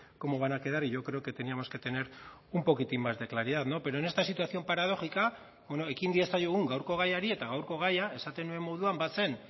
cómo van a quedar y yo creo que teníamos que tener un poquitín más de claridad no pero en esta situación paradójica ekin diezaiogun gaurko gaiari eta gaurko gaia esaten nuen moduan bazen